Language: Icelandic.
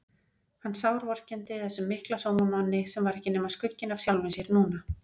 Hann sárvorkenndi þessum mikla sómamanni sem var ekki nema skugginn af sjálfum sér núna.